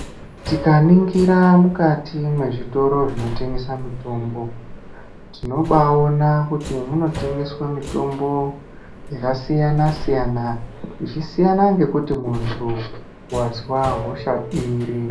Tikaningira mukati mwezvitoro zvinotengesa mitombo, tinobaawona kuti munotengeswa mitombo yakasiyana-siyana, zvichisiyana ngekuti muntu wazwa hosha iri.